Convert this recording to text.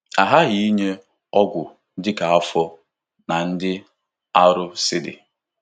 A ghaghị inye ọgwụ dị ka afọ na ịdị arọ si dị.